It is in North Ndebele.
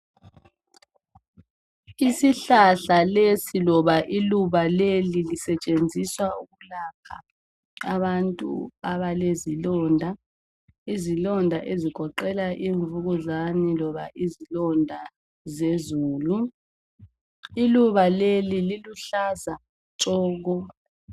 isihlahla lesi loba iluba leli sisetshenziswa ukulapha abantu alezilondo izilonda ezigoqela imvukuzane loba izilonda zezulu iluba leli liluhlaza tshoko